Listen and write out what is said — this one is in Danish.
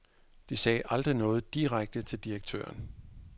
De sagde aldrig noget direkte til direktøren.